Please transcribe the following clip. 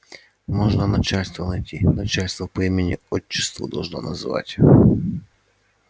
можно начальство найти начальство по имени отчеству должно называть